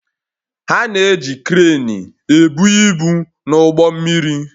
Ha na-eji kreenị ebu ibu n'ụgbọ mmiri